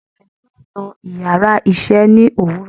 anulè yóò nú íyarà iṣẹ ni owúrò